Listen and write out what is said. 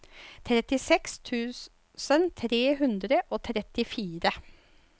trettiseks tusen tre hundre og trettifire